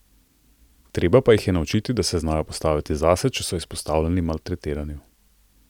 Treba pa jih je naučiti, da se znajo postaviti zase, če so izpostavljeni maltretiranju.